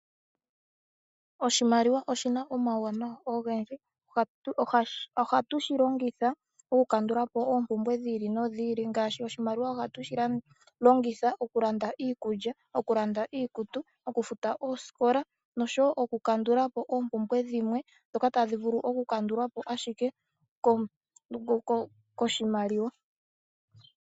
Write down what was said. Oshimaliwa oshina omauwanawa ogendji, ohatu shi longitha okukandula po oopumbwe dhi ili nodhi ili ngaashi oshimaliwa ohatu shi longitha okulanda iikulya ,okulanda iikutu, okufuta oosikola noshowo okukandula po oopumbwe dhimwe dhoka tadhi vulu okukandulwa po ashike koshimaliwa.